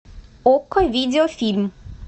окко видеофильм